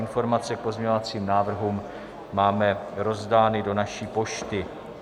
Informace k pozměňovacím návrhům máme rozdány do naší pošty.